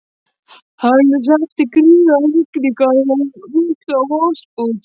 Hann hreppti gríðarlegar rigningar og mikla vosbúð.